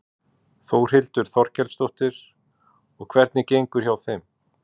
Þórhildur Þorkelsdóttir: Og hvernig gengur hjá þeim?